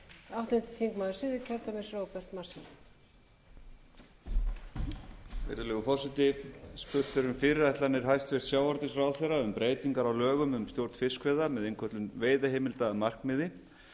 virðulegur forseti spurt er um fyrirætlanir hæstvirtur sjávarútvegsráðherra um breytingar á lögum um stjórn fiskveiða með innköllun veiðiheimilda að markmiði